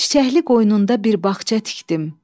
Çiçəkli qoynunda bir bağça tikdim.